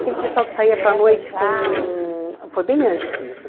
Aquele pessoal que saía para a noite com... Foi bem antes disso.